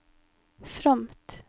fromt